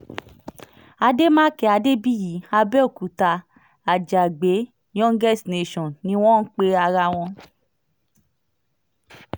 àdèmàkè adébíyì àbẹ̀òkúta àjàgbé youngest nation ni wọ́n ń pe ara wọn